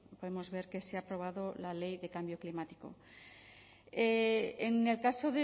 podemos ver que se ha aprobado la ley de cambio climático en el caso